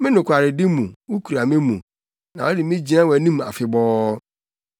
Me nokwaredi mu, wukura me mu na wode me gyina wʼanim afebɔɔ.